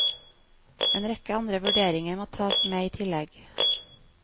En rekke andre vurderinger må tas med i tillegg.